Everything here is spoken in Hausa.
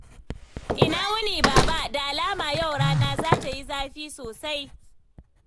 Ina wuni, Baba? Da alama yau rana za ta yi zafi sosai.